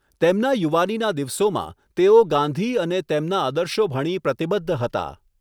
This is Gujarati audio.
તેમના યુવાનીના દિવસોમાં, તેઓ ગાંધી અને તેમના આદર્શો ભણી પ્રતિબદ્ધ હતા.